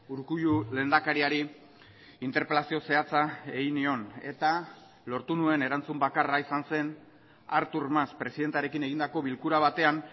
urkullu lehendakariari interpelazio zehatza egin nion eta lortu nuen erantzun bakarra izan zen artur mas presidentearekin egindako bilkura batean